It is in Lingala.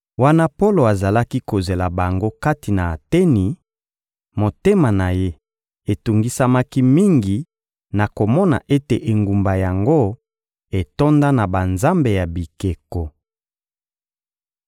Wana Polo azali kozela bango kati na Ateni, motema na ye etungisamaki mingi na komona ete engumba yango etonda na banzambe ya bikeko.